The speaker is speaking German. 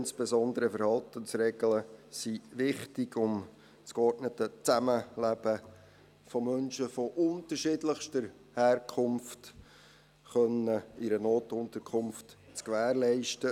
Insbesondere Verhaltensregeln sind wichtig, um das geordnete Zusammenleben von Menschen unterschiedlichster Herkunft in einer Notunterkunft zu gewährleisten.